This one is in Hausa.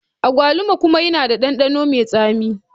Agwaluma kuma yana da ɗanɗano mai tsami.